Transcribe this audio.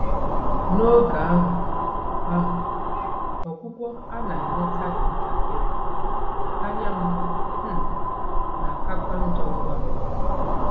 N'oge ahụ, ahụ, ọgwụgwọ a na-enweta dị ntakịrị, anya m um na-akakwa njọ ngwa ngwa.